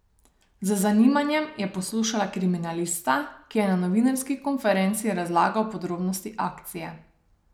Z zanimanjem je poslušala kriminalista, ki je na novinarski konferenci razlagal podrobnosti akcije.